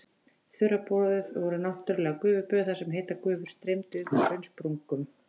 Þurraböð voru náttúrleg gufuböð þar sem heitar gufur streymdu upp úr hraunsprungum.